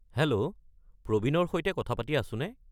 Hello, প্ৰবীনৰ সৈতে কথা পাতি আছোনে?